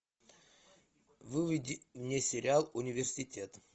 выведи мне сериал университет